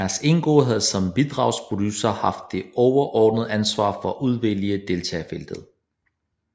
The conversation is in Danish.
Mads Enggaard havde som bidragsproducer haft det overordnede ansvar for at udvælge deltagerfeltet